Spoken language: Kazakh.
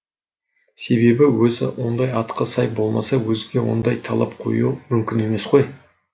себебі өзі ондай атқа сай болмаса өзгеге ондай талап қою мүмкін емес қой